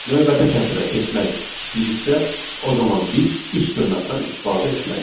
Növbəti sətrə keçmək istəyiriksə, o zaman biz üç dırnaqdan istifadə etməliyik.